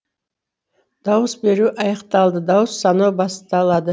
дауыс беру аяқталды дауыс санау басталады